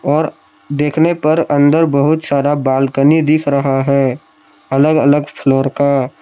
और देखने पर अंदर बहुत सारा बालकनी दिख रहा है अलग अलग फ्लोर का।